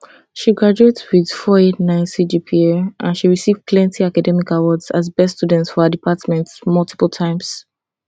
she graduate wit 489 cgpa and she receive plenty academic awards as best student for her department multiple times